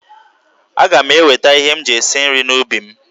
Aga m eweta ihe ndị m ji esi nri n'ubi m.